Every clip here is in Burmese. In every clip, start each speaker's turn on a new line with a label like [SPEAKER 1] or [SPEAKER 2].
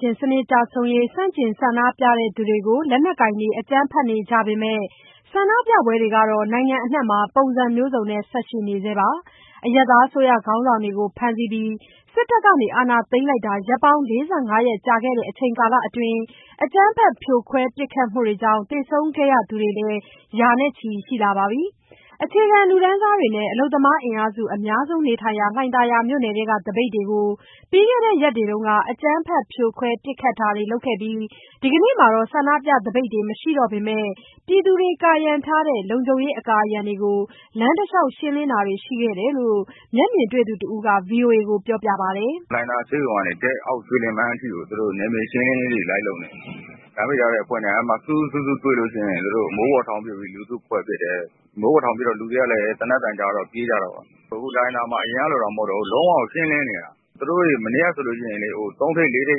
[SPEAKER 1] ရှင်စနစ် ကျဆုံးရေး ဆန့်ကျင်ဆန္ဒပြသူတွေကို လက်နက်ကိုင်တွေ အကြမ်းဖက်နေကြပေမဲ့ ဆန္ဒပြပွဲတွေကတော့ နိုင်ငံအနှံ့မှာ ပုံစံမျိုးစုံနဲ့ ဆက်ရှိနေဆဲပါ။ အရပ်သားအစိုးရ ခေါင်းဆောင်တွေကို ဖမ်းဆီးပြီး စစ်တပ်က အာဏာသိမ်းလိုက်တာ ရက်ပေါင်း ၄၅ ရက်ကြာခဲ့တဲ့ အချိန်ကာလအတွင်း အကြမ်းဖက်ဖြိုခွဲ ပစ်ခတ်မှုတွေကြောင့် သေဆုံးခဲ့ရသူတွေလည်း ရာနဲ့ချီရှိလာပါပြီ။ အခြေခံလူတန်းစားတွေနဲ့ အလုပ်သမားအင်အားစု အများဆုံးနေထိုင်ရာ လှိုင်သာယာမြို့နယ်တွင်းက သပိတ်တွေကို ပြီးခဲ့တဲ့ ရက်တွေတုန်းက အကြမ်းဖက်ဖြိုခွဲ ပစ်ခတ်တာတွေလုပ်ခဲ့ပြီး ဒီကနေ့မှာတော့ ဆန္ဒပြသပိတ်တွေ မရှိတော့ပေမဲ့ ပြည်သူတွေ ကာရံထားတဲ့ လုံခြုံရေးအကာအရံတွေကို လမ်းတလျှောက် ရှင်းလင်းတာတွေရှိခဲ့တယ်လို့ မျက်မြင်တွေ့သူတဦးက ဗွီအိုအေကိုပြောပါတယ်။
[SPEAKER 2] "လှိုင်သာယာဆေးရုံကနေ ရွှေလင်ပန်းအထိကို သူတို့နယ်မြေရှင်းလင်းရေးတွေ လိုက်လုပ်နေတယ်။ လမ်းပိတ်ထားတဲ့အဖွဲ့နဲ့ သူတို့စုစု၊ စုစုတွေ့လို့ရှိရင် မိုးပေါ်ထောင်ပစ်ပြီး လူစုခွဲပစ်တယ်။ မိုးပေါ်ထောင်ပစ်တော့ လူတွေကလည်း သေနတ်သံကြားတော့ ပြေးကြတာပေါ့။ အခု လှိုင်သာယာမှာ အရင်ကလို မဟုတ်တော့ဘူး၊ လုံးဝကို ရှင်းလင်းနေတာပဲ။ သူတို့တွေ မနေ့ကဆိုရင် ၃ ထိပ်၊ ၄ ထိပ်၊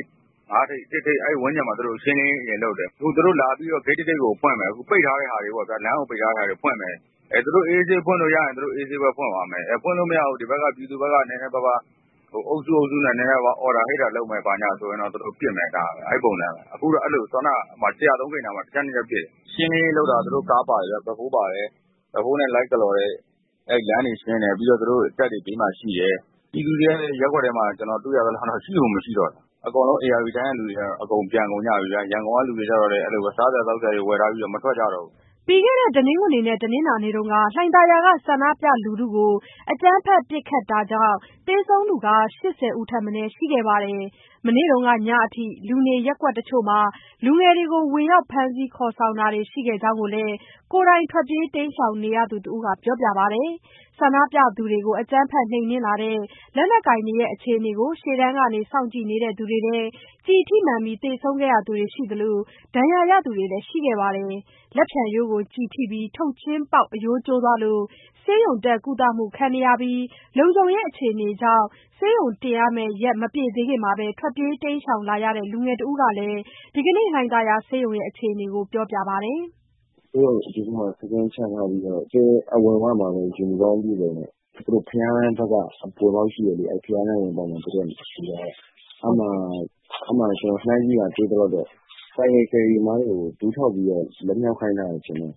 [SPEAKER 2] ၅ ထိပ်၊ ၁ ထိပ်... အဲဒီဝန်းကျင်မှာ သူတို့ရှင်းလင်းရေး အရင်လုပ်တယ်။ အခု သူတို့ပိတ်ထားတဲ့လမ်းတွေကို အေးအေးဆေးဆေး ဖွင့်လို့ရရင် သူတို့အေးအေးဆေးဆေးပဲ ဖွင့်သွားမယ်။ ပြည်သူဘက်က နည်းနည်းပါးပါး အုပ်စု၊ အုပ်စုနဲ့ အော်တာဟစ်တာလုပ်မယ်ဆိုရင်တော့ သူတို့ပစ်မယ်... အဲဒီပုံစံပဲ။ ခုနက ၁၀၃ ဂိတ်နားမှာ ၁ ချက်၊ ၂ ချက် ပစ်တယ်။ ရှင်းလင်းရေးလုပ်တာ သူတို့ကား ဘက်ဖိုးနဲ့ လိုက်ကလော်တယ်။ အဲဒီလမ်းတွေ ရှင်းတယ်။ သူတို့တပ်တွေ ဘေးမှာရှိတယ်။ ပြည်သူတွေကလည်း ရပ်ကွက်ထဲမှာ ကျနော်တွေ့ရသလောက်တော့ ရှိကို မရှိတော့တာ။ အကုန်လုံး ဧရာဝတီတိုင်းဘက်က လူတွေကပြန်ကုန်ကြပြီဗျာ။ ရန်ကုန်က လူတွေလည်း စားစရာ သောက်စရာ ဝယ်ထားပြီးတော့ မထွက်ကြတော့ဘူး။
[SPEAKER 1] " ပြီးခဲ့တဲ့ တနင်္ဂနွေနဲ့ တနင်္လာနေ့တုန်းက လှိုင်သာယာက ဆန္ဒပြလူထုကို အကြမ်းဖက်ပစ်ခတ်တာတွေကြောင့် သေဆုံးသူ ၈၀ ထက်မနည်းရှိခဲ့တာပါ။ မနေ့ကညအထိ လူနေရပ်ကွက်တချို့မှာ လူငယ်တွေကို ဝင်ရောက်ဖမ်းဆီးခေါ်ဆောင်တာတွေ ရှိခဲ့တဲ့အကြောင်းကိုလည်း ကိုယ်တိုင်ထွက်ပြေးတိမ်းရှောင်နေရသူ တဦးကပြောပါတယ်။ ဆန္ဒပြသူတွေကို အကြမ်းဖက်နှိမ်နင်းလာတဲ့ လက်နက်ကိုင်တွေရဲ့ အခြေအနေကို ရှေ့တန်းကနေစောင့်ကြည့်နေတဲ့ သူတွေထဲ ကျည်ထိမှန်ပြီး သေဆုံးခဲ့ရသူတွေ ရှိသလို၊ ဒဏ်ရာရသူတွေလည်း ရှိခဲ့ပါတယ်။ လက်ဖျံရိုးကို ကျည်ထိပြီး ထုတ်ချင်းပေါက် အရိုးကျိုးသွားလို့ ဆေးရုံတင်ကုသမှုခဲ့နေပြီး လုံခြုံရေးအခြေအနေကြောင့် ဆေးရုံတင်ရမယ့် ရက်မပြည့်သေးခင်မှာ ထွက်ပြေးတိမ်းရှောင်လာတဲ့ လူငယ်တဦးကလည်း ဒီကနေ့ လှိုင်သာယာဆေးရုံအခြေအနေကို ပြောပြလာပါတယ်။
[SPEAKER 3] "ဆေးရုံအပြင်ဘက်မှာ စခန်းချထားပြီးတော့ အဝင်ဝမှာ ယူနီဖောင်းအပြည့်အစုံနဲ့။ ဘုရားလမ်းဘက်က ဝင်ပေါက်ရှိတယ်လေ။ အဲဒီဘုရားလမ်းဘက်က ဆေးရုံဝင်ပေါက်မှာ သူတို့နေရာယူထားတာ။ အဲဒီမှာ ကျနော်လှမ်းကြည့်တာ တွေ့သလောက်တော့ ဆိုင်ကယ် ကယ်ရီသမားတွေကို ဒူးထောက်ပြီးတော့ လက်မြှောက်ခိုင်းထားတာ ထင်တယ်...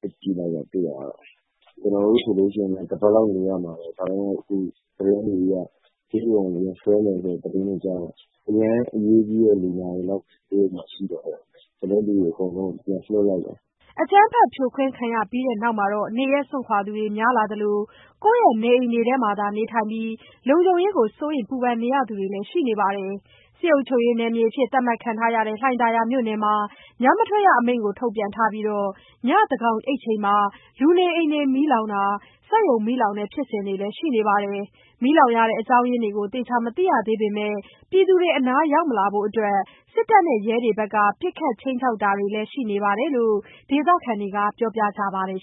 [SPEAKER 3] လှမ်းကြည့်လိုက်တာ တွေ့ရသလောက်တော့။ ကျနော်တို့ဆိုရင် တပတ်လောက်နေရမှာ။ ဒါပေမဲ့ ဆေးရုံကို ဝင်ဆွဲမယ်ဆိုတဲ့ သတင်းတွေကြားတော့ အရမ်းအရေးကြီးတဲ့ လူနာတွေလောက်ပဲ ဆေးရုံမှာ ရှိတော့တယ်။ ကျန်တဲ့လူတွေ အကုန်လုံးကို ပြန်လွှတ်လိုက်တာ။
[SPEAKER 1] " အကြမ်းဖက်ဖြိုခွဲ ခံရပြီးတဲ့နောက် နေရပ်စွန့်ခွာသူတွေ များလာသလို၊ ကိုယ့်ရဲ့နေအိမ်တွင်းမှာသာ နေထိုင်ပြီး လုံခြုံရေးစိုးရိမ် ပူပင်နေရသူတွေလည်း ရှိနေပါတယ်။ စစ်အုပ်ချုပ်ရေးနယ်မြေအဖြစ် သတ်မှတ်ခံထားရတဲ့ လှိုင်သာယာမြို့နယ်မှာ ညမထွက်ရအမိန့်ကိုလည်း ထုတ်ပြန်ထားပြီး ညဉ့်သန်းခေါင်အိပ်ချိန်မှာ လူနေအိမ် မီးလောင်တာနဲ့ စက်ရုံမီးလောင်တဲ့ ဖြစ်စဉ်တွေလည်း ရှိနေတာပါ။ မီးလောင်ရတဲ့ အကြောင်းရင်းတွေကို သေချာမသိရသေးပေမဲ့ ပြည်သူတွေ အနားရောက်မလာဖို့အတွက် စစ်တပ်နဲ့ ရဲတွေဘက်က ပစ်ခတ်ခြိမ်းခြောက်တာတွေလည်း ရှိနေတယ်လို့ ဒေသခံတွေက ပြောပါတယ်